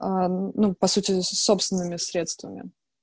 а ну по сути собственными средствами